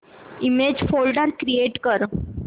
image folder create कर